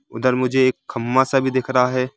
उधर मुझे एक खम्बा सा भी दिख रहा है।